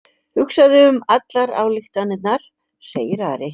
Hugsaðu um allar ályktanirnar, segir Ari.